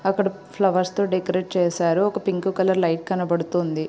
అక్కడ ఫ్లవర్స్ తో డెకరేట్ చేసారు ఒక పింక్ కలర్ లైట్ కనబదుతుంది.